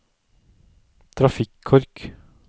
trafikkork